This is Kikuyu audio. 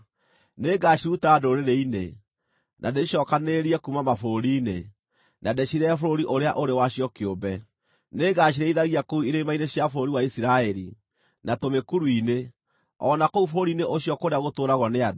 Nĩngaciruta ndũrĩrĩ-inĩ, na ndĩcicookanĩrĩrie kuuma mabũrũri-inĩ, na ndĩcirehe bũrũri ũrĩa ũrĩ wacio kĩũmbe. Nĩngacirĩithagia kũu irĩma-inĩ cia bũrũri wa Isiraeli, na tũmĩkuru-inĩ, o na kũu bũrũri-inĩ ũcio kũrĩa gũtũũragwo nĩ andũ.